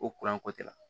Ko ko tɛ la